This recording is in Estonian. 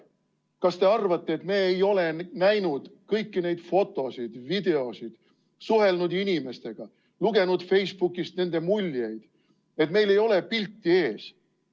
Kas te arvate, et me ei ole näinud kõiki neid fotosid, videoid, suhelnud inimestega, lugenud Facebookist nende muljeid, et meil ei ole pilti ees?